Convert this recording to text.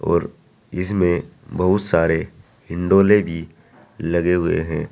और इसमें बहुत सारे हिंडोले भी लगे हुए हैं।